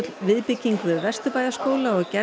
viðbygging við Vesturbæjarskóla og gerð